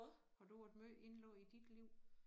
Har du være måj indlagt i dit liv?